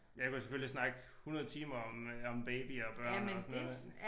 Jeg kunne selvfølgelig snakke 100 timer om øh om babyer og børn og sådan noget